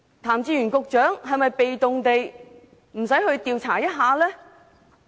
譚志源局長是否被動地覺得無須調查？